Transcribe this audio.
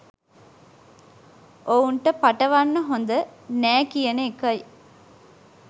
ඔවුන්ට පටවන්න හොඳ නෑ කියන එකයි